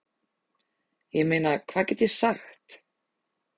Ég meina hvað get ég sagt?